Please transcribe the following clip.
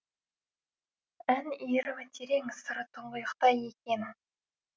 ән иірімі терең сыры тұңғиықта екен